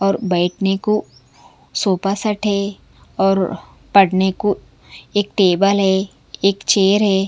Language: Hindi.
और बैठने को सोफा सेट है और पढ़ने को एक टेबल है एक चेयर है।